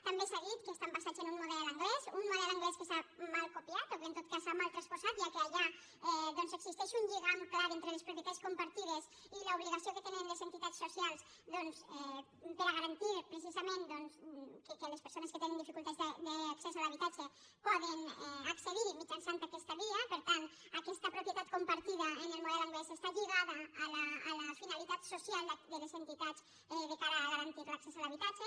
també s’ha dit que estan basades en un model anglès un model anglès que s’ha mal copiat o que en tot cas s’ha mal transposat ja que allà doncs existeix un lligam clar entre les propietats compartides i l’obligació que tenen les entitats socials per a garantir precisament que les persones que tenen dificultats d’accés a l’habitatge puguin accedirhi mitjançant aquesta via per tant aquesta propietat compartida en el model anglès està lligada a la finalitat social de les entitats de cara a garantir l’accés a l’habitatge